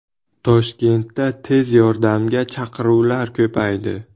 Toshkentda tez yordamga chaqiruvlar ko‘paydi.